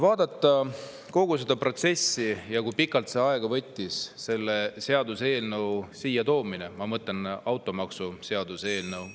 Vaatame kogu seda protsessi ja seda, kui pikalt võttis aega selle seaduseelnõu siia toomine – ma mõtlen automaksuseaduse eelnõu.